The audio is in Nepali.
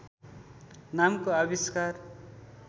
नामको आविष्कार